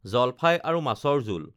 জলফাই আৰু মাছৰ জোল